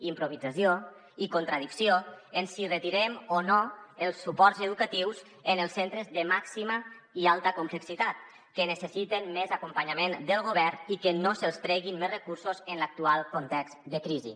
improvisació i contradicció en si retirem o no els suports educatius en els centres de màxima i alta complexitat que necessiten més acompanyament del govern i que no se’ls treguin més recursos en l’actual context de crisi